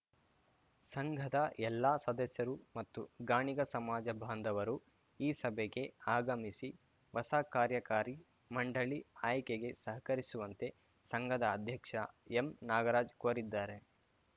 ಸಂಘದ ಎಲ್ಲಾ ಸದಸ್ಯರು ಮತ್ತು ಗಾಣಿಗ ಸಮಾಜ ಬಾಂಧವರು ಈ ಸಭೆಗೆ ಆಗಮಿಸಿ ಹೊಸ ಕಾರ್ಯಕಾರಿ ಮಂಡಳಿ ಆಯ್ಕೆಗೆ ಸಹಕರಿಸುವಂತೆ ಸಂಘದ ಅಧ್ಯಕ್ಷ ಎಂ ನಾಗರಾಜ್‌ ಕೋರಿದ್ದಾರೆ